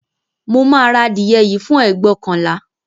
Mo máa ra adìẹ yìí fún ẹgbóokànlá